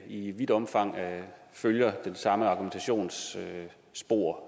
i vidt omfang følger det